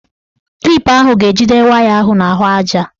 Klip ahụ ga-ejide waya ahụ n'ahụaja.